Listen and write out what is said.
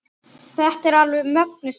Þetta var alveg mögnuð stund.